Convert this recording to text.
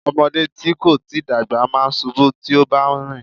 Ọmọdé tí kò tíì dàgbà máa ń ṣubú tí ó bá ń rìn.